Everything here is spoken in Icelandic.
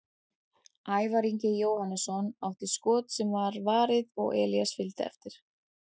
Ævar Ingi Jóhannesson átti skot sem var varið og Elías fylgdi eftir.